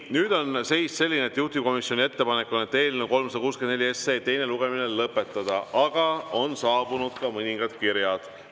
Nüüd on seis selline, et juhtivkomisjoni ettepanek on eelnõu 364 teine lugemine lõpetada, aga on saabunud ka mõningad kirjad.